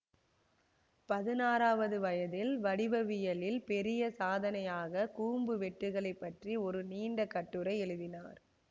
பதினாறாவது வயதில் வடிவவியலில் பெரிய சாதனையாகக் கூம்பு வெட்டுகளைப் பற்றி ஒரு நீண்ட கட்டுரை எழுதினார்